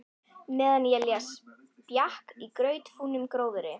Meðan ég les bjakk í grautfúnum gróðri.